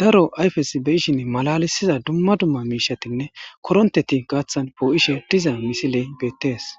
daro ayfes be ishin malalisiza dumma dumma miishatinne koronteti gaaththan boo7ishe diza misiley beettees